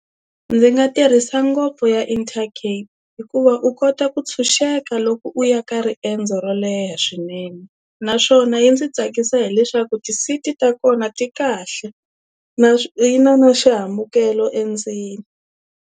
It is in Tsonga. Ndzi nga tirhisa ngopfu ya Intercape hikuva u kota ku tshunxeka loko u ya ka riendzo ro leha swinene naswona yi ndzi tsakisa hileswaku ti-seat ta kona ti kahle yi na na xihambukelo endzeni.